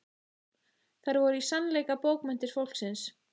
Þær voru í sannleika bókmenntir fólksins.